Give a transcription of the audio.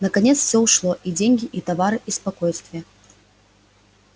наконец всё ушло и деньги и товары и спокойствие